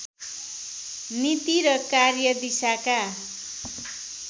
नीति र कार्यदिशाका